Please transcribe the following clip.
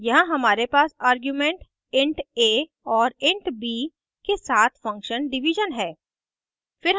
यहाँ हमारे पास आर्ग्यूमेंट int a और int b के साथ function division है